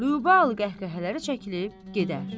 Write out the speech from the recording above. Lübə qəhqəhələri çəkilib gedər.